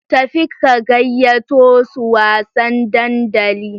Tafi ka gayyato su wasan dandali.